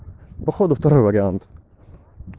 походу второй вариант